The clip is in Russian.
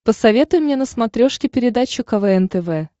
посоветуй мне на смотрешке передачу квн тв